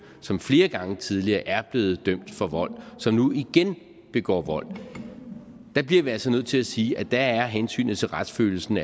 som flere gange tidligere er blevet dømt for vold og som nu igen begår vold så bliver vi altså nødt til at sige at der er hensynet til retsfølelsen